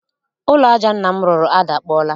Ụlọ aja nna m rụrụ adakpọọla